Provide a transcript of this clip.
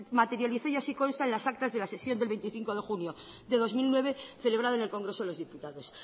materializó y así consta en las actas de la sesión del veinticinco de junio del dos mil nueve celebrado en el congreso de los diputados